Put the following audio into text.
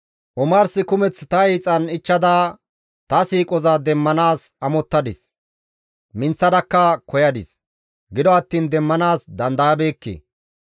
«Omars kumeth ta hiixan ichchada, ta siiqoza demmanaas amottadis; minththadakka koyadis; gido attiin demmanaas dandayabeekke.